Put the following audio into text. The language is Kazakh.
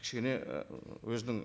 кішкене ііі өзінің